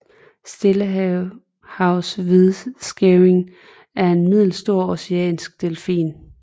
Stillehavshvidskæving er en middelstor oceanisk delfin